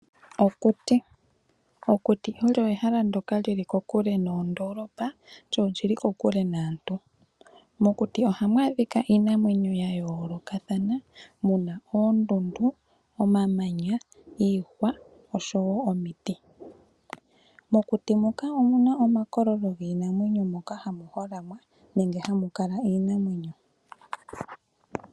Okuti, okuti olyo ehala ndyoka lyi li kokule noondolopa lyo olyili kokule naantu. Mokuti oha mu adhika iinamwenyo ya yoolokathana, muna oondundu, omamanya, iihwa osho woo omiti. Mokuti muka omuna omakololo giinamwenyo moka ha mu holamwa nenge hamu kala iinamwenyo.